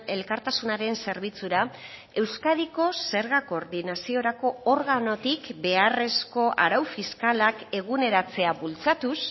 elkartasunaren zerbitzura euskadiko zerga koordinaziorako organotik beharrezko arau fiskalak eguneratzea bultzatuz